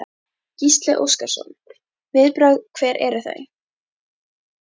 Gísli Óskarsson: Viðbrögð, hver eru þau?